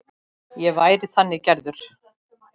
Ég væri þannig gerður.